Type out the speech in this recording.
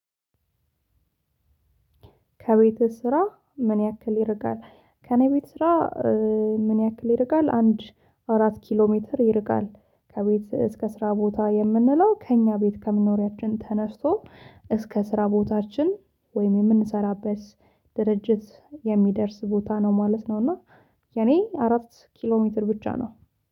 ከቤትህ ስራ ምን ያክል ይርቃል? ከኔ ቤት ስራ ምን ያክል ይርቃል፣ አንድ አራት ኪሎ ሜትር ይርቃል። ከቤት እስከ ስራ ቦታ የምንለው ከእኛ ቤት ከመኖሪያችን ተነስቶ እስከ ስራ ቦታችን ወይም የምንሰራበት ድርጅት የሚደርስ ቦታ ነው ማለት ነው እና የኔ አራት ኪሎ ሜትር ብቻ ነው።